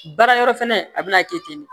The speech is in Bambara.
Baara yɔrɔ fɛnɛ a bɛna kɛ ten de